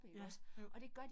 Ja jo